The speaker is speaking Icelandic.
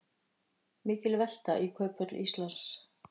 Mikil velta í Kauphöll Íslands